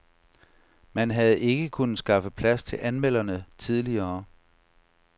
Man havde ikke kunnet skaffe plads til anmelderne tidligere.